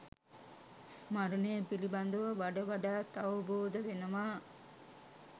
මරණය පිළිබඳව වඩ වඩාත් අවබෝධ වෙනවා.